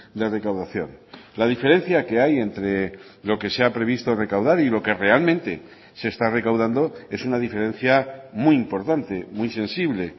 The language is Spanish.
de recaudación la diferencia que hay entre lo que se ha previsto recaudar y lo que realmente se está recaudando es una diferencia muy importante muy sensible